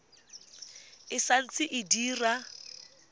e sa ntse e dira